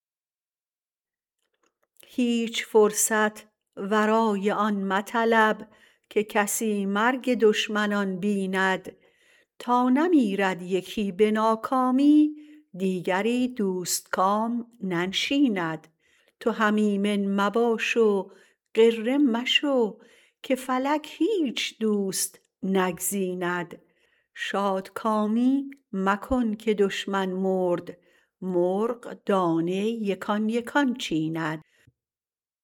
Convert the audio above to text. هیچ فرصت ورای آن مطلب که کسی مرگ دشمنان بیند تا نمیرد یکی به ناکامی دیگری دوستکام ننشیند تو هم ایمن مباش و غره مشو که فلک هیچ دوست نگزیند شادکامی مکن که دشمن مرد مرغ دانه یکان یکان چیند